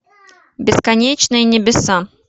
бесконечные небеса